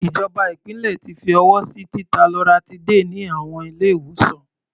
Ìjọba ìpínlẹ̀ ti fi ọwọ́ sí títa loratiday ní àwọn ilé-ìwòsàn.